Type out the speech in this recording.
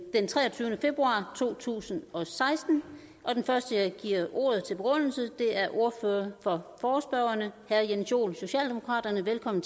den treogtyvende februar to tusind og seksten den første jeg giver ordet til for begrundelse er ordføreren for forespørgerne herre jens joel socialdemokraterne velkommen